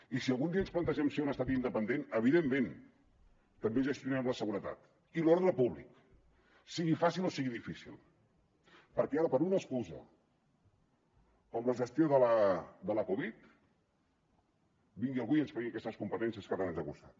i si algun dia ens plantegem ser un estat independent evidentment també gestionarem la seguretat i l’ordre públic sigui fàcil o sigui difícil perquè ara per una excusa com la gestió de la covid vingui algú i ens tregui aquestes competències que tant ens han costat